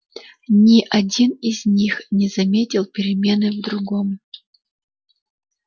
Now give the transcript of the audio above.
ни один из них не заметил перемены в другом